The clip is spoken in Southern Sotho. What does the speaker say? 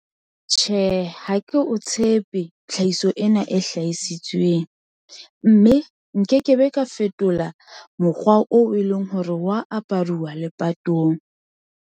Tjhe, ha ke o tshepe tlhahiso ena e hlahisitsweng, mme nkekebe ka fetola mokgwa oo e leng hore wa aparuwa lepatong.